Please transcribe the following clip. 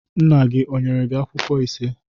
Nna gị ọ nyere akwụkwọ ise?